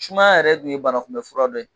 Sumaya yɛrɛ tun ye banakunbɛ fura dɔ ye.